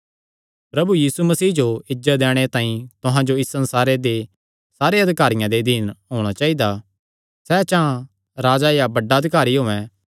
प्रभु यीशु मसीह जो इज्जत दैणे तांई तुहां जो इस संसारे दे सारे अधिकारियां दे अधीन होणा चाइदा सैह़ चां राजा या बड्डा अधिकारी होयैं